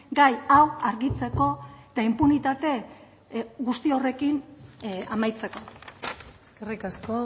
gai hau argitzeko eta inpunitate guzti horrekin amaitzeko eskerrik asko